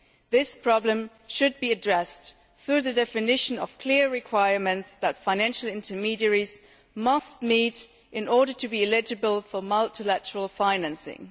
This problem should be addressed through the definition of clear requirements that financial intermediaries must meet in order to be eligible for multilateral financing.